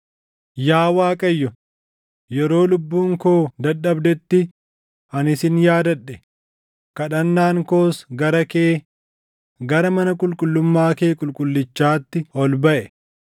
“Yaa Waaqayyo, yeroo lubbuun koo dadhabdetti ani sin yaadadhe; kadhannaan koos gara kee gara mana qulqullummaa kee qulqullichaatti ol baʼe.